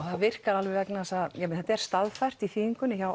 það virkar alveg vegna þess að þetta er staðfært í þýðingunni hjá